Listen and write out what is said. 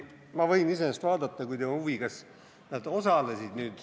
Ma võin iseenesest vaadata, kui teil on huvi, kas nad osalesid.